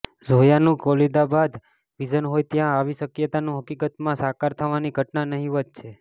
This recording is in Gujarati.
ઝોયાનું કાબિલેદાદ વિઝન હોય ત્યાં આવી શક્યતાનું હકીકતમાં સાકાર થવાની ઘટના નહિવત છે